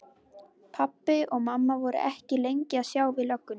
Pabbi og mamma voru ekki lengi að sjá við löggunni.